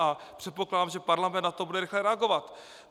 A předpokládám, že Parlament na to bude rychle reagovat.